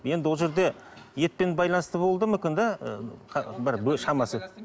енді ол жерде етпен байланысты болуы да мүмкін да ы бір шамасы